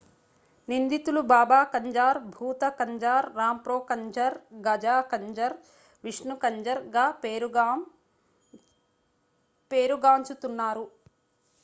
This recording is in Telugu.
నిందితులు బాబా కంజార్ భూత కంజార్ రాంప్రో కంజర్ గాజా కంజర్ విష్ణు కంజర్ గా పేరుగాం చుతున్నారు